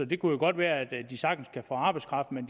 det kunne jo godt være at de sagtens kan få arbejdskraft men